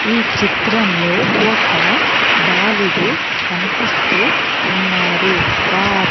ఈ చిత్రంలో ఒక బాలుడు కనిపిస్తూ ఉన్నారు వా--